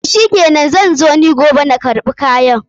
Toh shikenan, zan zo ni giobe na karɓi kayan.